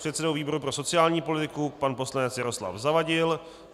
předsedou výboru pro sociální politiku pan poslanec Jaroslav Zavadil,